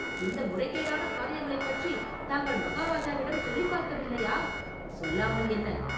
இந்த முறைகேடான காரியங்களைப் பற்றித் தாங்கள் மகாராஜாவிடம் சொல்லிப் பார்க்க வில்லையா?” “சொல்லாமல் என்ன!